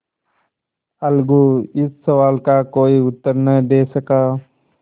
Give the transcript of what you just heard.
अलगू इस सवाल का कोई उत्तर न दे सका